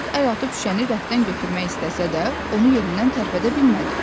Hersoq əl atıb şüşəni rəfdən götürmək istəsə də, onu yerindən tərpədə bilmədi.